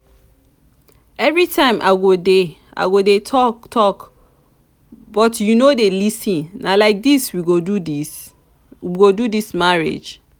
everytime i go dey i go dey talk talk but you no dey lis ten na like dis we go do dis marriage?